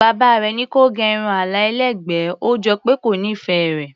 Bàbá rẹ̀ ní kí ó gẹ irun àlà ẹlẹ́gbẹ̀ẹ́, ó jọ pé kò nífẹ̀ẹ́ rẹ̀.